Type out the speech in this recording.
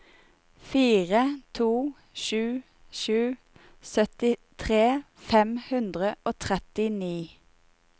fire to sju sju syttifire fem hundre og trettini